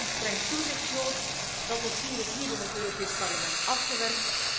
Wij hebben dus ook een streng toezicht nodig. Dat dossier is hier in het Europees Parlement afgewerkt.